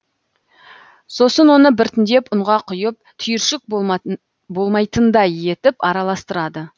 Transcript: сосын оны біртіндеп ұнға құйып түйіршік болмайтындай етіп аралыстырады